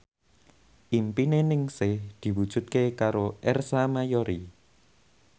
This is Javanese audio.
impine Ningsih diwujudke karo Ersa Mayori